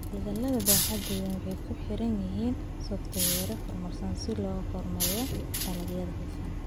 Hawlgallada baaxadda weyni waxay ku xiran yihiin software horumarsan si loo kormeero dalagga oo hufan.